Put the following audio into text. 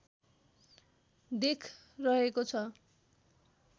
देख रहेको छ